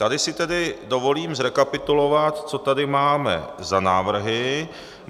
Tady si tedy dovolím zrekapitulovat, co tady máme za návrhy.